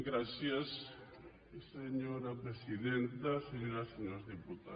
gràcies senyora presidenta senyores i senyors diputats